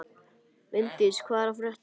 Líndís, hvað er að frétta?